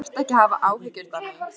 Þú þarft ekki að hafa áhyggjur, Dagný.